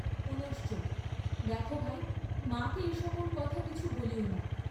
পুঃ দেখ ভাই, মাকে এ সকল কথা কিছু বলিও না।